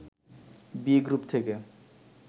B group থেকে